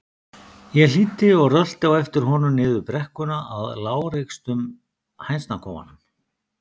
Ég hlýddi og rölti á eftir honum niður brekkuna að lágreistum hænsnakofanum.